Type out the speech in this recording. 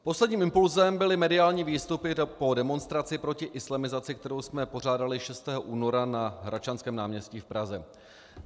Posledním impulsem byly mediální výstupy po demonstraci proti islamizaci, kterou jsme pořádali 6. února na Hradčanském náměstí v Praze.